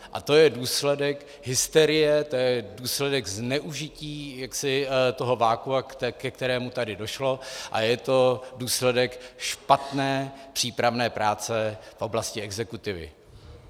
A to je důsledek hysterie, to je důsledek zneužití toho vakua, ke kterému tady došlo, a je to důsledek špatné přípravné práce v oblasti exekutivy.